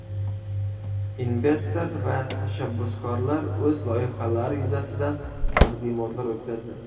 Investor va tashabbuskorlar o‘z loyihalari yuzasidan taqdimotlar o‘tkazdi.